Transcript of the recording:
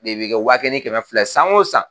De bɛ kɛ wa kelen ni kɛmɛ filɛ ye san o san.